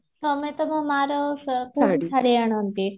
ତମେ ତମ ମା ର ଶାଢୀ ଆଣନ୍ତି